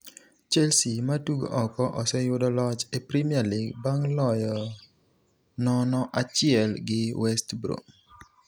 Chelsea, matugo oko, oseyudo loch e Premier League bang' loyo 0-1 gi West Brom.